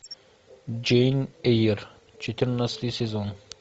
джейн эйр четырнадцатый сезон